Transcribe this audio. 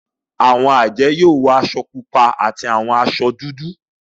Awọn ajẹ yoo wọ aṣọ pupa ati awọn aṣọ dudu.